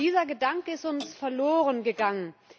Dieser Gedanke ist uns verlorengegangen.